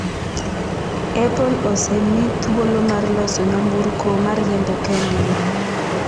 Apple osemi thuolo mar loso nyamburko ma riembo kendgi